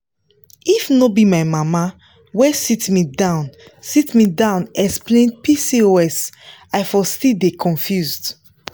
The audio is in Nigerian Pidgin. if no be my mama wey sit me down sit me down explain pcos i for still dey confuse.